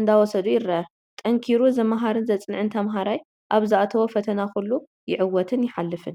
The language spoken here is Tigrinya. እንዳወሰዱ ይረአ፡፡ ጠንኪሩ ዝምሃርን ዘፅንዕን ተምሃራይ ኣብ ዝኣተዎ ፈተና ኩሉ ይዕወትን ይሓልፍን፡፡